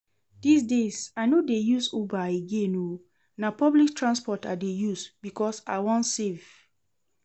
Dis days I no dey use uber again oo, na public transport I dey use because I wan save